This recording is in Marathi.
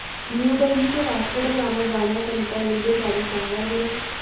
न्यू दिल्ली ते वास्को द गामा जाण्या करीता रेल्वेगाडी सांगा बरं